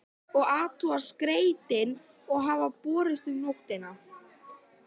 Og athugar skeytin sem hafa borist um nóttina?